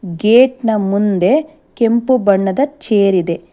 Gate ನ ಮುಂದೆ ಕೆಂಪು ಬಣ್ಣದ ಚೇರಿದೆ.